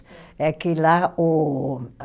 É que lá o